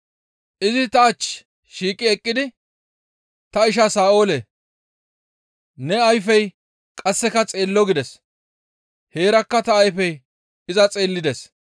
Izi ta ach shiiqi eqqidi, ‹Ta isha Sa7oolee! Ne ayfey qasseka xeello› gides; heerakka ta ayfey iza xeellides.